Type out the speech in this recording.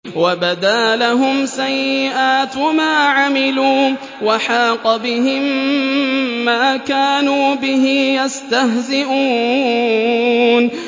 وَبَدَا لَهُمْ سَيِّئَاتُ مَا عَمِلُوا وَحَاقَ بِهِم مَّا كَانُوا بِهِ يَسْتَهْزِئُونَ